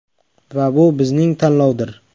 Va bu bizning tanlovdir!